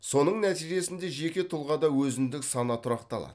соның нәтижесінде жеке тұлғада өзіндік сана тұрақталады